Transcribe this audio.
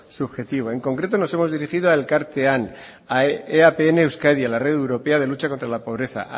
subjetivo en concreto nos hemos dirigido a elkartean a eapn euskadi a la red europea de lucha contra la pobreza